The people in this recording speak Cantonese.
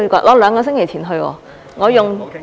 我兩個星期前去，我用......